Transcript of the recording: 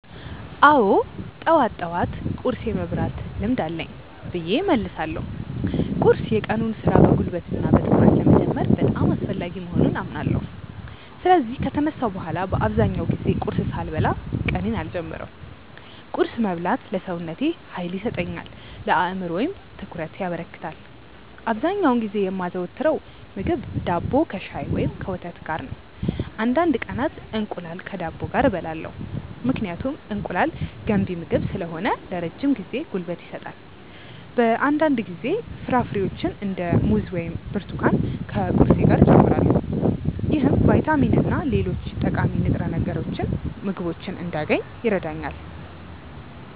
አዎ፣ ጠዋት ጠዋት ቁርስ የመብላት ልምድ አለኝ ብዬ እመልሳለሁ። ቁርስ የቀኑን ሥራ በጉልበትና በትኩረት ለመጀመር በጣም አስፈላጊ መሆኑን አምናለሁ። ስለዚህ ከተነሳሁ በኋላ በአብዛኛው ጊዜ ቁርስ ሳልበላ ቀኔን አልጀምርም። ቁርስ መብላት ለሰውነቴ ኃይል ይሰጠኛል፣ ለአእምሮዬም ትኩረት ያበረክታል። አብዛኛውን ጊዜ የማዘወትረው ምግብ ዳቦ ከሻይ ወይም ከወተት ጋር ነው። አንዳንድ ቀናት እንቁላል ከዳቦ ጋር እበላለሁ፣ ምክንያቱም እንቁላል ገንቢ ምግብ ስለሆነ ለረጅም ጊዜ ጉልበት ይሰጣል። በአንዳንድ ጊዜ ፍራፍሬዎችን እንደ ሙዝ ወይም ብርቱካን ከቁርሴ ጋር እጨምራለሁ። ይህም ቫይታሚንና ሌሎች ጠቃሚ ንጥረ ምግቦችን እንዳገኝ ይረዳኛል።